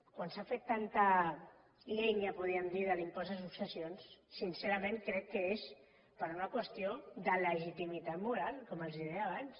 quan s’ha fet tanta llenya podríem dir de l’impost de successions sincerament crec que és per una qüestió de legitimitat moral com els deia abans